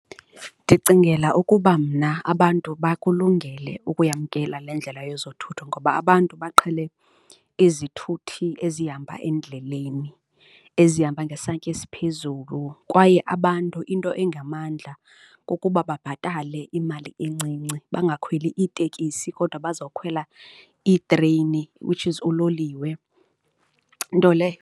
Ndicingela ukuba mna abantu bakulungele ukuyamkela le ndlela yezothutho ngoba abantu baqhele izithuthi ezihamba endleleni, ezihamba ngesantya esiphezulu kwaye abantu into engamandla kukuba babhatale imali encinci, bangakhweli iitekisi kodwa bazokhwela iitreyini, which is uloliwe nto leyo.